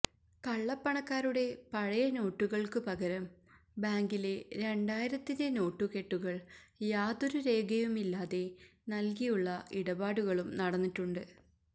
കള്ളപ്പണക്കാരുടെ പഴയ നോട്ടുകള്ക്ക് പകരം ബാങ്കിലെ രണ്ടായിരത്തിന്റെ നോട്ടുകെട്ടുകള് യാതൊരു രേഖയുമില്ലാതെ നല്കിയുള്ള ഇടപാടുകളും നടന്നിട്ടുണ്ട്